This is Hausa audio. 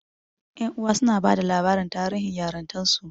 Ƴan uwa suna bada labarin tarihin yarintarsu.